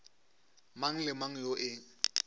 mang le mang yo e